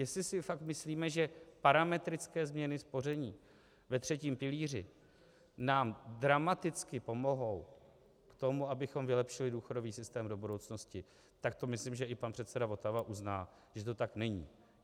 Jestli si fakt myslíme, že parametrické změny spoření ve třetím pilíři nám dramaticky pomohou k tomu, abychom vylepšili důchodový systém do budoucnosti, tak to myslím, že i pan předseda Votava uzná, že to tak není.